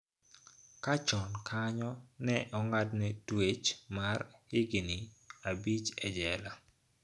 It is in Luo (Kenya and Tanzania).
Ka chon kanyo ne ong'adne twech mar higini abich e jela.